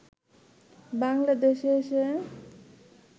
বাংলাদেশে এসে